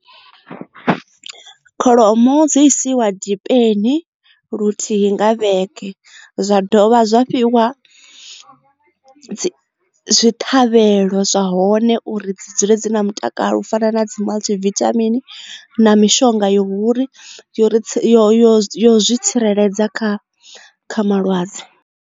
Kholomo dzi isiwa dipeni luthihi nga vhege zwa dovha zwa fhiwa zwi ṱhavhelo zwa hone uri dzi dzule dzi na mutakalo u fana na dzi multi vithamini na mishonga yo uri yo yo yo yo zwi tsireledza kha malwadze.